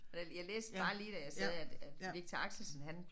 Jeg jeg læste bare lige da jeg sad at at Viktor Axelsen han